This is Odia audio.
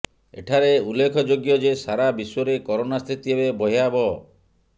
ଏଠାରେ ଉଲ୍ଲେଖ ଯୋଗ୍ୟ ଯେ ସାରା ବିଶ୍ବରେ କରୋନା ସ୍ଥିତି ଏବେ ଭୟାବହ